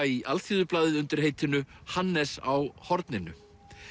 í Alþýðublaðið undir heitinu Hannes á horninu